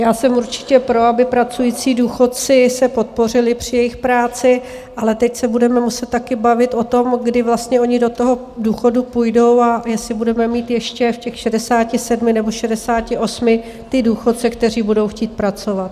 Já jsem určitě pro, aby pracující důchodci se podpořili při jejich práci, ale teď se budeme muset také bavit o tom, kdy vlastně oni do toho důchodu půjdou a jestli budeme mít ještě v těch 67 nebo 68 ty důchodce, kteří budou chtít pracovat.